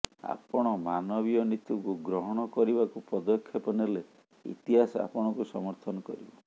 ଆପଣ ମାନବୀୟ ନୀତିକୁ ଗ୍ରହଣ କରିବାକୁ ପଦକ୍ଷେପ ନେଲେ ଇତିହାସ ଆପଣଙ୍କୁ ସମର୍ଥନ କରିବ